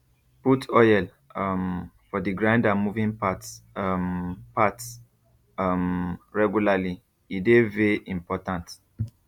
put oil um for d grinder moving parts um parts um regularly e dey vey important